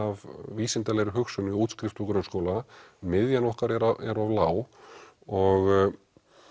vísindalegri hugsun við útskrift úr grunnskóla miðjan okkar er er of lág og